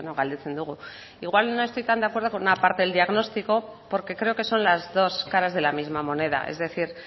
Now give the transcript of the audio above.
galdetzen dugu igual no estoy tan de acuerdo con una parte del diagnóstico porque creo que son las dos caras de la misma moneda es decir